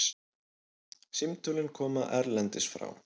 Símtölin koma erlendis frá.